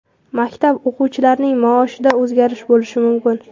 Maktab o‘qituvchilarining maoshida o‘zgarish bo‘lishi mumkin.